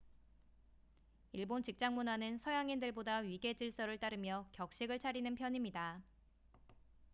일본 직장문화는 서양인들보다 위계질서를 따르며 격식을 차리는 편입니다